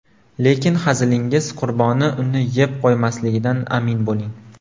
Lekin hazilingiz qurboni uni yeb qo‘ymasligidan amin bo‘ling.